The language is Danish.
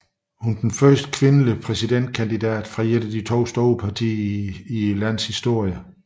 Hun er den første kvindelige præsidentkandidat for et af de to store partier i landets historie